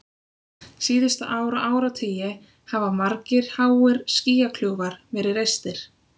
Síðustu ár og áratugi hafa margir háir skýjakljúfar verið reistir.